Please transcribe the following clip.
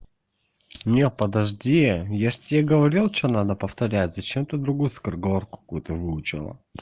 нет подожди я же тебе говорил что надо повторять зачем ты другую скороговорку какую-то выучила